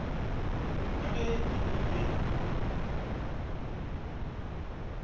ka ge e le ye